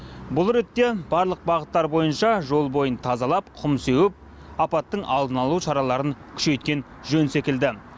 бұл ретте барлық бағыттар бойынша жол бойын тазалап құм сеуіп апаттың алдын алу шараларын күшейткен жөн секілді